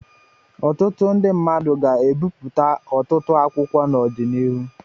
Ọtụtụ ndị mmadụ ga-ebipụta ọtụtụ akwụkwọ n'ọdịnihu.